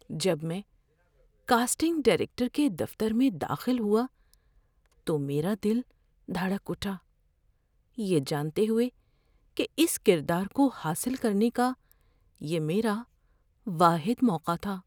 جب میں casting director کے دفتر میں داخل ہوا تو میرا دل دھڑک اٹھا، یہ جانتے ہوئے کہ اس کردار کو حاصل کرنے کا یہ میرا واحد موقع تھا۔